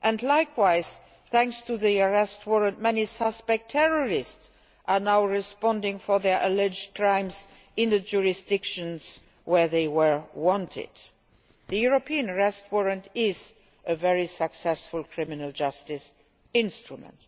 Likewise, thanks to the European Arrest Warrant, many suspected terrorists are now answering for their alleged crimes in the jurisdictions where they were wanted. The European Arrest Warrant is a very successful criminal justice instrument.